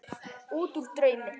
Útúr draumi.